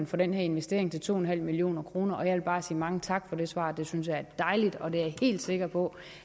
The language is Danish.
for den her investering til to en halv million kroner jeg vil bare sige mange tak for det svar det synes jeg er dejligt og jeg er helt sikker på